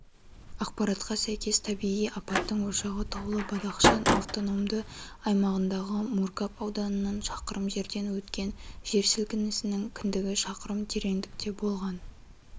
ақпаратқа сәйкес табиғи апаттың ошағы таулы бадахшан автономды аймағындағы мургаб ауданынан шақырым жерден өткен жер сілкінісінің кіндігі шақырым тереңдікте болған